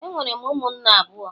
Enwere m ụmụnne abụọ